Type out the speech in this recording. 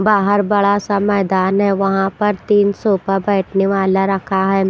बाहर बड़ा सा मैदान है वहाँ पर तीन सोफा बैठने वाला रखा है।